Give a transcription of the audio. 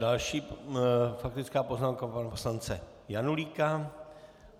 Další faktická poznámka pana poslance Janulíka.